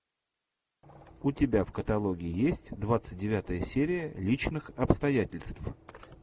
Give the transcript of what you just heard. у тебя в каталоге есть двадцать девятая серия личных обстоятельств